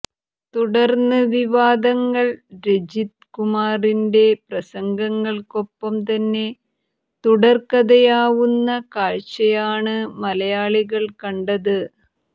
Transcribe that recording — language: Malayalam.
തുടർന്ന് വിവാദങ്ങൾ രജിത് കുമാറിന്റെ പ്രസംഗങ്ങൾക്കൊപ്പം തന്നെ തുടർകഥയാവുന്ന കാഴ്ചയാണ് മലയാളികൾ കണ്ടത്